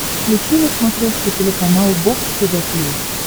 включи на смотрешке телеканал бокс тв плюс